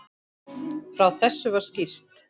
Frá þessu var skýrt.